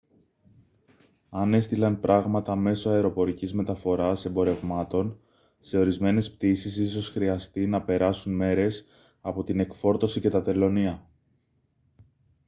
αν έστειλαν πράγματα μέσω αεροπορικής μεταφοράς εμπορευμάτων σε ορισμένες πτήσεις ίσως χρειαστεί να περάσουν μέρες από την εκφόρτωση και τα τελωνεία